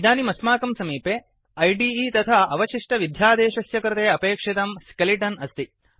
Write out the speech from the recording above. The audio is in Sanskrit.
इदानीम् अस्माकं समीपे इदे ऐडिइ तथा अवशिष्टविध्यादेशस्य कृते अपेक्षितं स्केलिटन् अस्ति